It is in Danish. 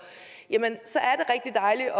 at